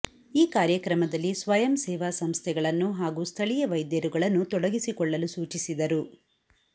ಈ ಕಾರ್ಯಕ್ರಮದಲ್ಲಿ ಸ್ವಯಂ ಸೇವಾ ಸಂಸ್ಥೆಗಳನ್ನು ಹಾಗೂ ಸ್ಥಳೀಯ ವೈದ್ಯರುಗಳನ್ನು ತೊಡಗಿಸಿ ಕೊಳ್ಳಲು ಸೂಚಿಸಿದರು